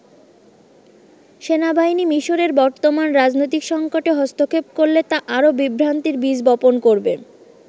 সেনাবাহিনী মিশরের বর্তমান রাজনৈতিক সংকটে হস্তক্ষেপ করলে তা আরও বিভ্রান্তির বীজ বপন করবে।